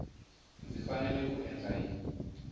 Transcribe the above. ndzi fanele ku endla yini